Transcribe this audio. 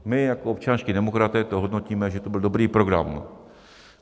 My jako občanští demokraté to hodnotíme, že to byl dobrý program.